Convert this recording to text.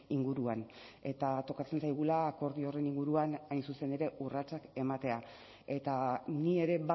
inguruan eta tokatzen zaigula akordio horren inguruan hain zuzen ere urratsak ematea eta ni ere